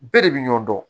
Bɛɛ de bi ɲɔ dɔn